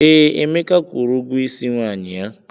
Ee, Emeka kwụrụ ụgwọ Ịsị nwanyi ya.